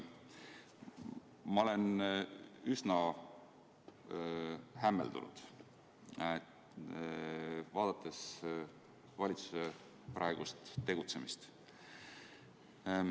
Ma olen üsna hämmeldunud, kui vaatan valitsuse praegust tegutsemist.